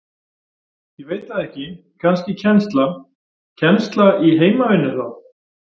Ég veit það ekki, kannski kennsla Kennsla í heimavinnu þá?